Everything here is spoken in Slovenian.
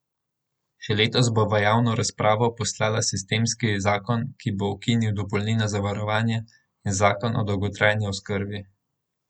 Še letos bo v javno razpravo poslala sistemski zakon, ki bo ukinil dopolnilno zavarovanje, in zakon o dolgotrajni oskrbi.